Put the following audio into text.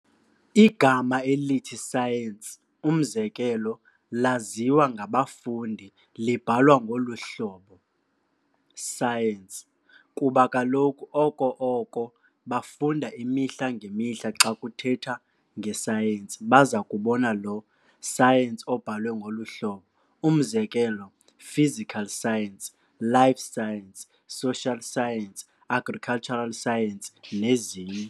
Igama elithi science, umzekelo, laziwa ngabafundi libhalwa ngolu-hlobo "Science", kuba kaloku okokoko bafunda imihla ngemihla xa kuthetha ngescience bazakubona lo "science" obhalwe ngolu hlobo, umzekelo, Physical science, life Science, social science, Agricultural science, nezinye.